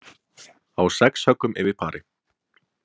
Á sex höggum yfir pari